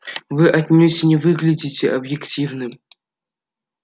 вы отнюдь не выглядите объективным